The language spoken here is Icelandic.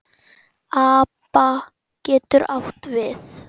APA getur átt við